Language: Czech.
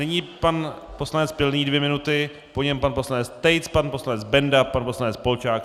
Nyní pan poslanec Pilný dvě minuty, po něm pan poslanec Tejc, pan poslanec Benda, pan poslanec Polčák.